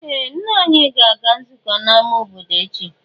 Ee! Nna anyị ga-aga nzukọ n'amá obodo echi.